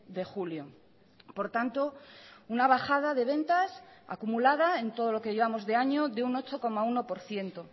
de julio por tanto una bajada de ventas acumulada en todo lo que llevamos de año de un ocho coma uno por ciento